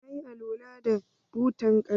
Na yi alwala da butan ƙarfe.